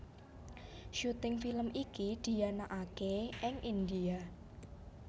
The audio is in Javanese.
Syuting film iki dianakaké ing India